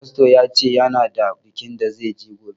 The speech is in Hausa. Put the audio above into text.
Fasto ya ce ya na da bikin da zai je gobe